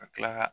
Ka kila ka